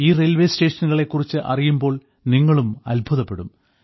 ഈ റെയിൽവേ സ്റ്റേഷനുകളെ കുറിച്ച് അറിയുമ്പോൾ നിങ്ങളും അത്ഭുതപ്പെടും